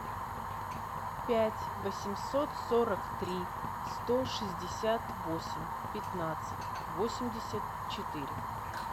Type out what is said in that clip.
пять восемьсот сорок три сто шестьдесят восемь пятнадцать восемьдесят четыре